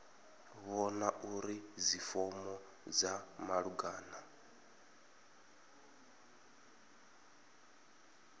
vhona uri dzifomo dza malugana